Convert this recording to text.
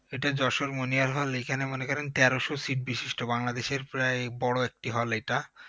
এটা যশোর মনিহার hall এইখানে মনে করেন তেরোশো seat বিশিষ্ট বাংলাদেশের প্রায় বড় একটি hall এই টা